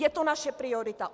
Je to naše priorita.